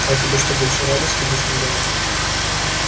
а тебе что больше радости доставляет